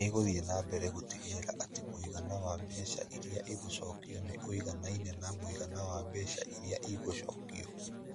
Nĩ ĩgũthiĩ na mbere gũtigĩrĩra atĩ mũigana wa mbeca iria igũcokio nĩ ũiganaine na mũigana wa mbeca iria igũcokio.